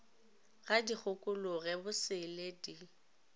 ga di kgokologe bosele di